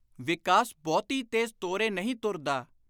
ਵਿਕਾਸ ਬਹੁਤੀ ਤੇਜ਼ ਤੋਰੇ ਨਹੀਂ ਤੁਰਦਾ।